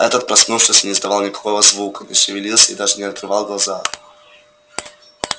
этот проснувшись не издавал никакого звука не шевелился и даже не открывал глаз